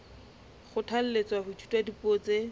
kgothalletswa ho ithuta dipuo tse